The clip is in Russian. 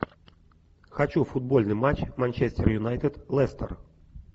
хочу футбольный матч манчестер юнайтед лестер